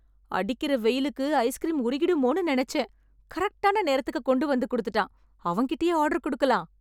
அடிக்கற வெயிலுக்கு ஐஸ்க்ரீம் உருகிடுமோன்னு நெனச்சேன்... கரெக்ட்டான நேரத்துக்கு கொண்டுவந்து குடுத்துட்டான். அவன்கிட்டயே ஆர்டர் கொடுக்கலாம்.